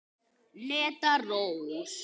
Hneta Rós.